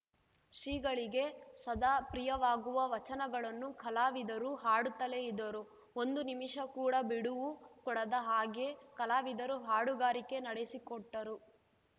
ಶ್ರೀಗಳಿಗೆ ಸದಾ ಪ್ರಿಯವಾಗುವ ವಚನಗಳನ್ನು ಕಲಾವಿದರು ಹಾಡುತ್ತಲೇ ಇದ್ದರು ಒಂದು ನಿಮಿಷ ಕೂಡ ಬಿಡುವು ಕೊಡದ ಹಾಗೆ ಕಲಾವಿದರು ಹಾಡುಗಾರಿಕೆ ನಡೆಸಿಕೊಟ್ಟರು